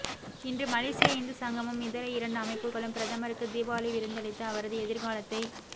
இன்று மலேசிய இந்து சங்கமும் இதர இரண்டு அமைப்புகளும் பிரதமருக்கு தீபாவளி விருந்தளித்து அவரது எதிர்காலத்தை